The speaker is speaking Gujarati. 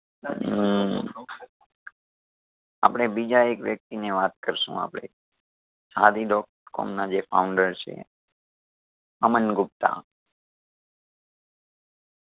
હું આપણે બીજા એક વ્યક્તિ ની વાત કરશું આપણે shaadi. com ના જે founder છે અમન ગુપ્તા